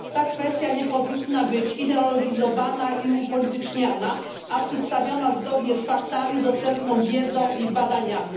Ta kwestia nie powinna być ideologizowana i upolityczniana, a przedstawiona zgodnie z faktami, dostępną wiedzą i badaniami.